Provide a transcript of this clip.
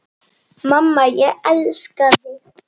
Mamma, ég elska þig.